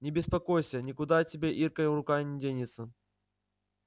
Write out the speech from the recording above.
не беспокойся никуда от тебя иркина рука не денется